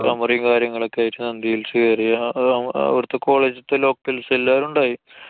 camera കാര്യങ്ങളും ഒക്കെ ആയിട്ട്. നന്ദി hills ചെയ്യാ. അവുടത്തെ college ല്‍ത്തെ locals എല്ലാരും ഉണ്ടായി.